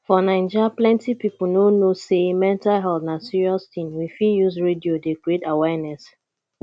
for naija plenty pipo no know sey mental health na serious thing we fit use radio dey create awareness